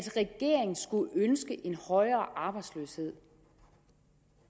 regeringen skulle ønske en højere arbejdsløshed